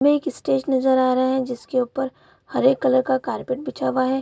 में स्टेज नजर आ रहा है जिसके ऊपर हरे कलर का कारपेट बिछा हुआ है।